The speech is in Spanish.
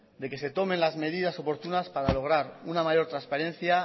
de que se tomen las medidas oportunas para lograr una mayor transparencia